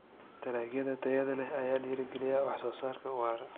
Dalagyada tayada leh ayaa dhiirigeliya wax soo saarka waara.